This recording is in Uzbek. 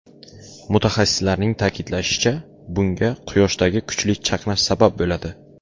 Mutaxassislarning ta’kidlashicha, bunga Quyoshdagi kuchli chaqnash sabab bo‘ladi.